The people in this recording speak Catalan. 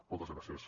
moltes gràcies